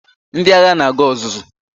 Ndị agha na-aga ọzụzụ